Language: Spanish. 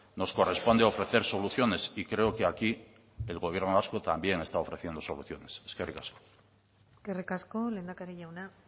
nos corresponde ofrecer soluciones y creo que aquí el gobierno vasco también está ofreciendo soluciones eskerrik asko eskerrik asko lehendakari jauna